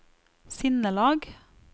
sinnelag